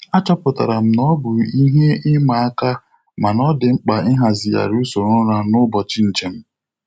Achọpụtara m na ọ bụ ihe ịma aka mana ọ dị mkpa Ịhazigharị usoro ụra n'ụbọchị njem.